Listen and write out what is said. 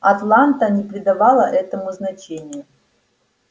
атланта не придавала этому значения